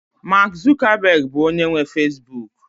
Mark Zuckerberg bụ onye nwe Facibụkụ